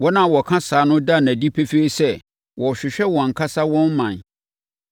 Wɔn a wɔka saa no da no adi pefee sɛ wɔrehwehwɛ wɔn ankasa wɔn ɔman.